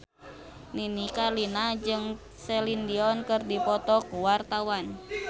Nini Carlina jeung Celine Dion keur dipoto ku wartawan